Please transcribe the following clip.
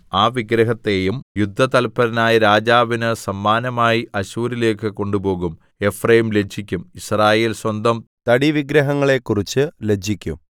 ആ വിഗ്രഹത്തെയും യുദ്ധതല്പരനായ രാജാവിന് സമ്മാനമായി അശ്ശൂരിലേക്ക് കൊണ്ടുപോകും എഫ്രയീം ലജ്ജിക്കും യിസ്രായേൽ സ്വന്തം തടി വിഗ്രഹങ്ങളെ കുറിച്ച് ലജ്ജിക്കും